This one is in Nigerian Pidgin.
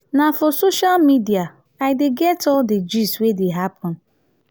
na for social media i dey get all di gist wey dey happen.